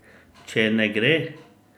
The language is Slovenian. Če ne gre?